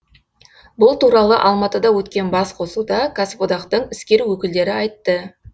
бұл туралы алматыда өткен басқосуда кәсіподақтың іскер өкілдері айтты